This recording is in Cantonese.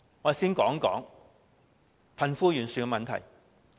我先談談貧富懸殊的問題。